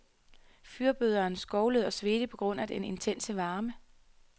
Fyrbøderen skovlede og svedte på grund af den intense varme.